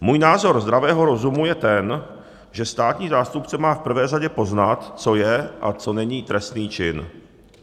Můj názor zdravého rozumu je ten, že státní zástupce má v prvé řadě poznat, co je a co není trestný čin.